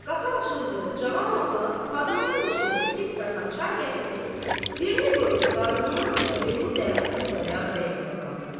Qapı açıldı, cavan oğlan podnosun içində iki stəkan çay gətirib, birini qoydu Qazının, birini də Xudayar bəyin qabağına.